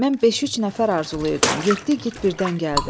Mən beş-üç nəfər arzulayırdım, yeddi igid birdən gəldi.